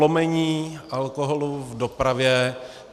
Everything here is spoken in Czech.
Prolomení alkoholu v dopravě.